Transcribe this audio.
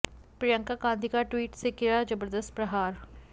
प्रियंका गांधी का ट्वीट से किया जबरदस्त प्रहार